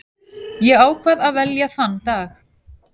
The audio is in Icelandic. Ég ákvað að velja þann dag.